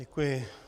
Děkuji.